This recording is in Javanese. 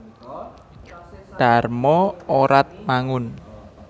Dharma Oratmangun